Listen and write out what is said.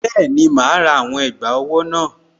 Bẹ́ẹ̀ni, màá rà àwọn ẹ̀gbà owó náà